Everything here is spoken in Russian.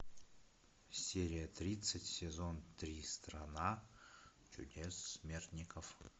серия тридцать сезон три страна чудес смертников